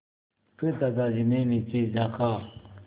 फिर दादाजी ने नीचे झाँका